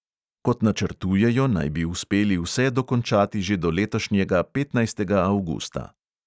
Kot načrtujejo, naj bi uspeli vse dokončati že do letošnjega petnajstega avgusta.